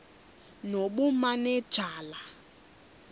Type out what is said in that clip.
nobumanejala